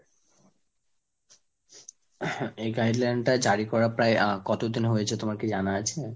এই guideline টা জারি করা প্রায় আহ কতদিন হয়েছে তোমার কি জানা আছে?